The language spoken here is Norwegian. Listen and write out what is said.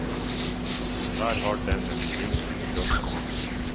Der har den en ring rundt kroppen.